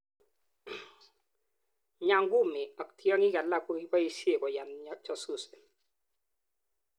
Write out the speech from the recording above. Nyangumi ak tiaki alak kokipaishenkoyan jasusi